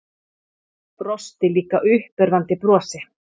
Brosti líka uppörvandi brosi.